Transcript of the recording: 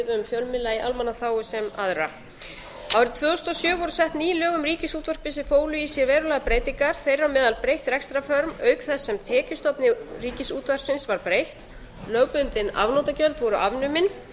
í almannaþágu sem aðra árið tvö þúsund og sjö voru sett ný lög um ríkisútvarpið sem fólu í sér verulegar breytingar þar á meðal breytt rekstrarform auk þess sem tekjustofni ríkisútvarpsins var breytt lögbundin afnotagjöld voru afnumin